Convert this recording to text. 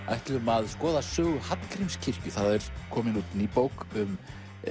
ætlum að skoða sögu Hallgrímskirkju það er komin út ný bók um